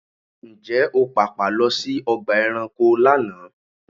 Ǹjẹ́ o pàpà lọ sí ọgbà ẹranko lánàá?